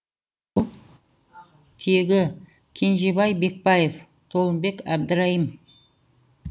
тегі кенжебай бекпаев толымбек әбдірайым